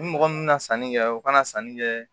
Ni mɔgɔ min na sanni kɛ o kana sanni kɛ